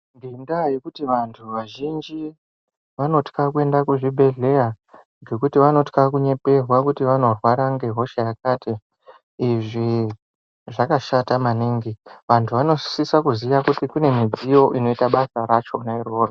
Ngendaa yekuti vantu vazhinji vanotya kuenda kuchibhedhlera ngekuti vanotya kunyeperwa kuti vanorwara ngehosha yakati. Izvi zvakashata maningi, vantu vanosisa kuziya kuti kune midziyo inoita basa rachona iroro.